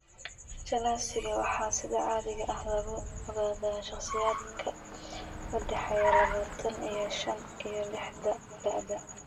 Achalasiaga waxaa sida caadiga ah lagu ogaadaa shakhsiyaadka u dhexeeya labatan iyo shan iyo lixdan da'da.